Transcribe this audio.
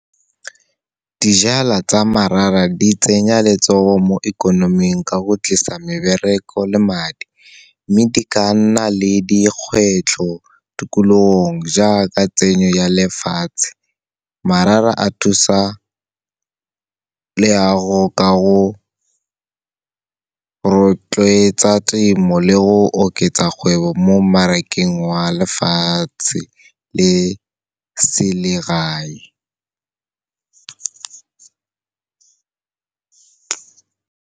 Dijala tsa di tsenya letsogo mo ikonoming ka go tlisa mebereko le madi, mme di ka nna le dikgwetlho tikologong jaaka tsenyo ya lefatshe. a thusa leago ka go rotloetsa temo le go oketsa kgwebo mo mmarakeng wa lefatshe le selegae.